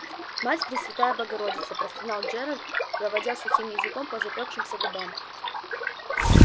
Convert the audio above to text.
мать пресвятая богородица простонал джералд проводя сухим языком по запёкшимся губам